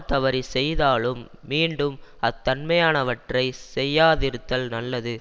தவறி செய்தாலும் மீண்டும் அத் தன்மையானவற்றைச் செய்யாதிருத்தல் நல்லது